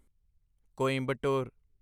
Coimbatore